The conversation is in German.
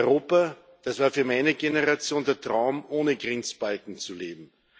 Europa Das war für meine Generation der Traum, ohne Grenzbalken zu leben.